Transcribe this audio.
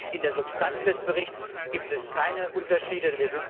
Bei der Substanz des Berichts gibt es keine Unterschiede.